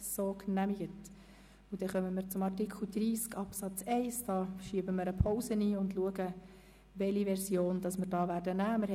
Wir legen eine Pause ein, um zu sehen, welche Version von Artikel 30 Absatz 1 wir nehmen.